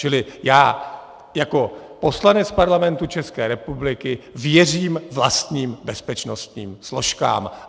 Čili já jako poslanec Parlamentu České republiky věřím vlastním bezpečnostním složkám.